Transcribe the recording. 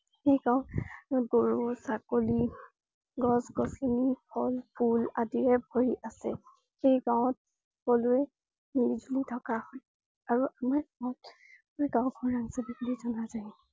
এই গাঁওখনত গৰু, ছাগলী, গছ, গছনী, ফল, ফুল আদিৰে ভৰি আছে। এই গাঁৱত সকলোৱে মিলিজুলি থকা হয়। আৰু আমাৰ গাওঁ আমাৰ গাওঁ খনত ।